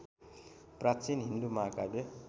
प्राचीन हिन्दू महाकाव्य